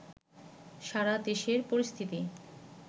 সারা দেশের পরিস্থিতি